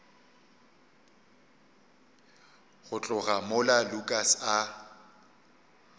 go tloga mola lukas a